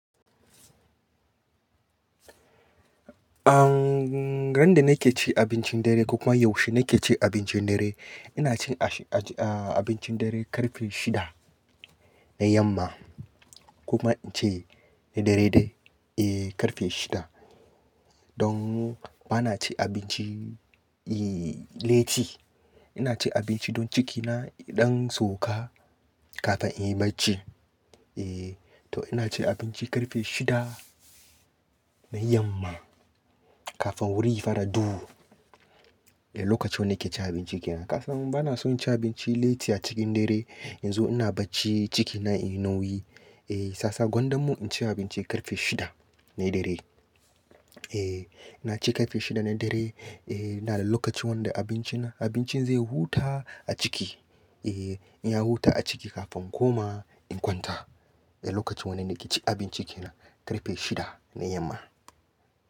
Ahn, ran da nake ci abincin dare ko kuwa yaushe nake ci abincin dare, ina cin a-a-a abincin dare ƙarfe shida na yamma kuma ince na dare ɗaya, eh ƙarfe shida. Don ba na ci abinci, i, latti. Ina cin abinci don cikina, ya ɗan sauka kafin in yi bacci. Eh, to ina cin abinci ƙarfe shida na yamma kafin wuri ya fara duhu. Eh, lokaci wanda nake cin abinci kenan. Kasan ba na son cin abinci latti a cikin dare. Yanzu ina bacci, cikina ina wiyi. Eh, sasa gwandanmu in ci abinci ƙarfe shida na dare. Eh, na ci ƙarfe shida na dare. Eh, ina da lokaci wanda abincina, abincin zai huta a ciki. Eh, in ya huta a ciki kafin koma in kwanta. Eh, lokacin wanda nake cin abinci kenan ƙarfe shida na yamma.